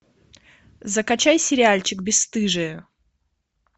закачай сериальчик бесстыжие